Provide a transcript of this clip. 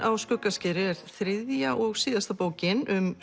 á Skuggaskeri er þriðja og síðasta bókin um